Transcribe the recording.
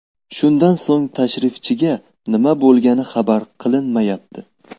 Shundan so‘ng tashrifchiga nima bo‘lgani xabar qilinmayapti.